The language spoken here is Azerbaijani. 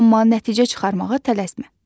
Amma nəticə çıxarmağa tələsmə.